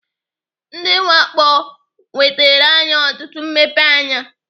Ndị mwakpo nwetere anyị ọtụtụ mmepeanya.